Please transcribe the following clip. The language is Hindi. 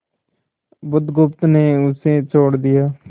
बुधगुप्त ने उसे छोड़ दिया